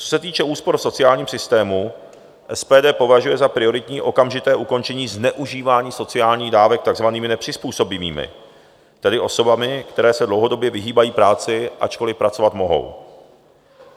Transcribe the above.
Co se týče úspor v sociálním systému, SPD považuje za prioritní okamžité ukončení zneužívání sociálních dávek takzvanými nepřizpůsobivými, tedy osobami, které se dlouhodobě vyhýbají práci, ačkoli pracovat mohou.